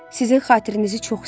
Sizin xatirənizi çox istəyirəm.